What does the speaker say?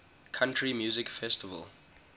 country music festival